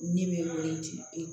Ne bɛ wele di